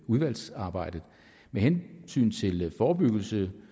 udvalgsarbejdet med hensyn til forebyggelse